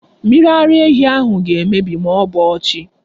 Mmiri ara ehi ahụ ga-emebi ma ọ bọọ chi.